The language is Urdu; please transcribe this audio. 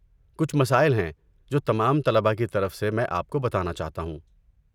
کچھ مسائل ہیں جو تمام طلبہ کی طرف سے میں آپ کو بتانا چاہتا ہوں۔